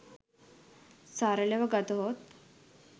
සරලව ගතහොත්